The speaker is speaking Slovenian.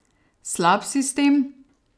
Slab sistem?